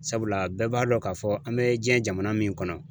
Sabula bɛɛ b'a dɔn k'a fɔ an bɛ diɲɛ jamana min kɔnɔ.